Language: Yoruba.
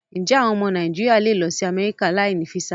Ǹjé́ àwọn ọmọ Nàìjíríà lè lọ sí Amẹ́ríkà láì ní físà?